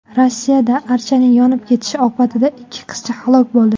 Rossiyada archaning yonib ketishi oqibatida ikki qizcha halok bo‘ldi.